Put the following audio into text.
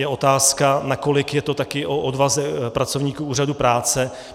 Je otázka, nakolik je to také o odvaze pracovníků úřadů práce.